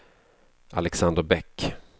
Alexander Bäck